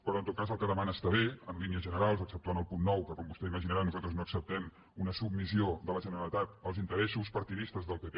però en tot cas el que demana està bé en línies generals exceptuant el punt nou que com vostè deu imaginar nosaltres no acceptem una submissió de la generalitat als interessos partidistes del pp